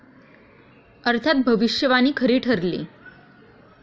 अर्थात भविष्यवाणी खरी ठरली.